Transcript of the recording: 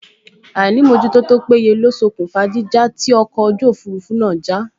Àìmójútó tó péye ló ṣokùnfà jíjà tí ọkọ̀ òfurufú náà já